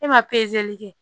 E ma kɛ